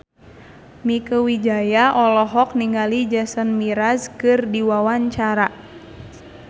Mieke Wijaya olohok ningali Jason Mraz keur diwawancara